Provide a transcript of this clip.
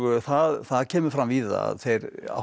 það kemur fram víða að þeir áttu